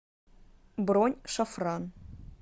бронь шафран